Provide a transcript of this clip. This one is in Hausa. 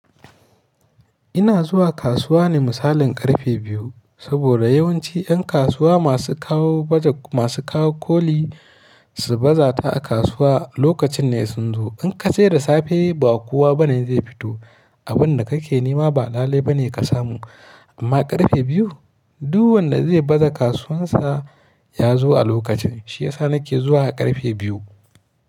Ina zuwa kasuwa ne misalin ƙarfe biyu, saboda yawanci 'yan kasuwa masu kawo baje masu kawo koli su baza ta a kasuwa lokacin ne sun zo. In ka je da safe ba kowa ba ne zai fito, abin da kake nema ba lalai ba ne ka samu. Amma ƙarfe biyu duk wanda zai baza kasuwansa ya zo a lokacin. Shi yasa na ke zuwa a ƙarfe biyu.